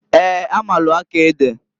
Eeǃ A maalụ akọ ede.